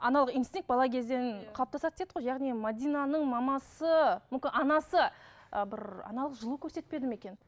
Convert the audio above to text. аналық инстинкт бала кезден қалыптасады дедік қой яғни мәдинаның мамасы мүмкін анасы ы бір аналық жылу көрсетпеді ме екен